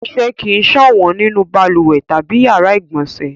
Ọṣẹ kì í ṣànwọ́ nínú balùwẹ̀ tàbí ìyàrá-ìgbọ̀nsẹ̀.